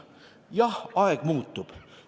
Jah, aeg muutub.